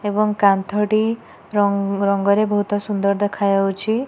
ଏବଂ କାନ୍ଥ ଟି ରଂ ରଙ୍ଗରେ ବୋହୁତ ସୁନ୍ଦର ଦେଖାଯାଉଛି।